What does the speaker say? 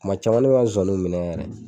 Kuma caman na ne bi n ka zonzanniw minɛ yɛrɛ